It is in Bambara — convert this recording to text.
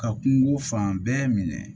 Ka kungo fan bɛɛ minɛ